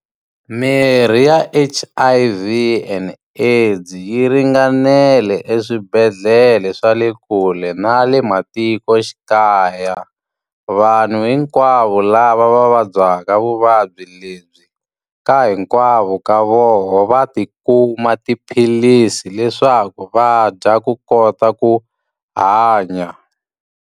Mirhi ya H_I_V and AIDS yi ringanele eswibedhlele swa le kule na le matikoxikaya. Vanhu hinkwavo lava va vabyaka vuvabyi lebyi, ka hinkwavo ka vona va ti kuma tiphilisi leswaku va dya ku kota ku hanya.